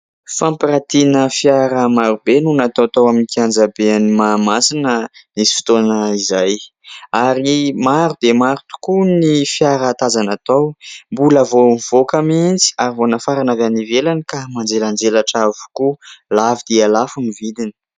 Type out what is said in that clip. Fampirantiana fiara maro be no natao tao amin'ny kianjaben'i Mahamasina nisy fotoana izay ary maro dia maro koa ny fiara tazana tao. Mbola vao nivoaka mihitsy ary vao nafarana avy any ivelany ka manjelanjelatra avokoa. Lafo dia lafo ny vidiny.